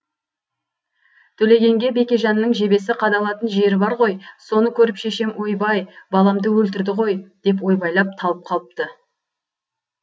төлегенге бекежанның жебесі қадалатын жері бар ғой соны көріп шешем ойбай баламды өлтірді ғой деп ойбайлап талып қалыпты